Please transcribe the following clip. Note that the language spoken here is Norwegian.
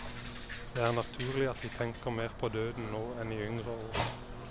Det er naturlig at vi tenker mer på døden nå enn i yngre år.